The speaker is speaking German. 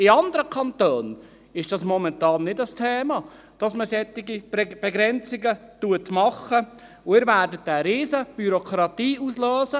In anderen Kantonen ist es momentan kein Thema, dass man solche Begrenzungen macht, und Sie werden eine riesige Bürokratie auslösen.